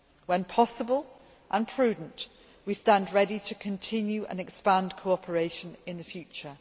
When possible and prudent, we stand ready to continue and expand cooperation in the future.